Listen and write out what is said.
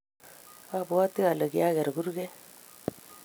abwoti alee kiaker kurget